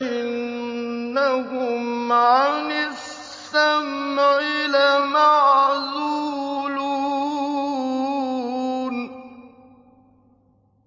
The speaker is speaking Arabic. إِنَّهُمْ عَنِ السَّمْعِ لَمَعْزُولُونَ